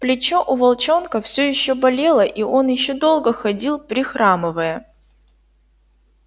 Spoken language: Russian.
плечо у волчонка все ещё болело и он ещё долго ходил прихрамывая